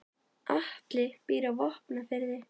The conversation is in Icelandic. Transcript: Atli býr á Vopnafirði.